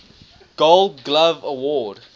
gold glove award